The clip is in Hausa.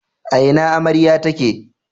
A ina amarya take?